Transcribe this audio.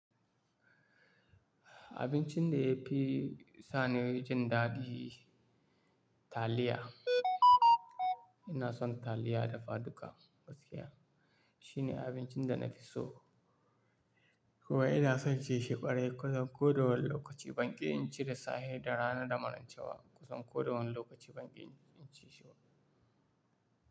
Abincin da ya fi sani jin daɗi taliya. Ina son taliya dafa duka gaskiya. Shine abincin da na fi so. Kowa ina son ci shi ƙwarai. Kusan ko da wane lokaci banƙi in ci da safe da rana da maraice wa. Kusan ko da wane lokaci banƙi in ci shi ba.